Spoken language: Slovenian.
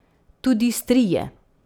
Tudi strije.